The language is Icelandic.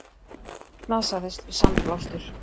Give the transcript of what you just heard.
Slasaðist við sandblástur